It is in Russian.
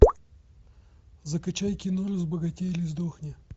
закачай кино разбогатей или сдохни